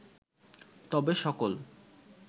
তবে সকল